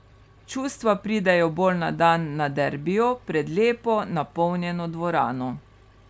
Čustva pridejo bolj na dan na derbiju pred lepo napolnjeno dvorano.